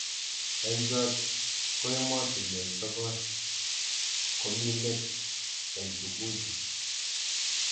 Eng chot ko emotunwek sokol komi let eng tukuju.